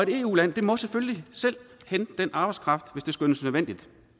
eu land må selvfølgelig selv hente den arbejdskraft hvis det skønnes nødvendigt